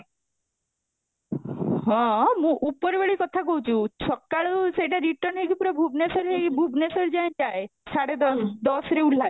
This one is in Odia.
ହଁ, ମୁଁ ଉପର ବେଳ କଥା କହୁଛୁ ସକାଳୁ ସେଟା return ହେଇକି ପୁରା ଭୁବନେଶ୍ୱର ହେଇ ଭୁବନେଶ୍ୱର ଯାଏଁ ଯାଏ ସାଢେ ଦଶ ଦଶ ରେ ଓଲ୍ହାଏ